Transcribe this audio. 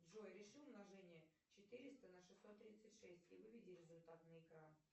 джой реши умножение четыреста на шестьсот тридцать шесть и выведи результат на экран